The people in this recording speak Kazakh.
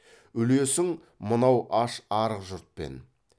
үлесің мынау аш арық жұртпен